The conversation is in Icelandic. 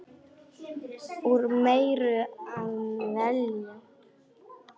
Úr meiru að velja!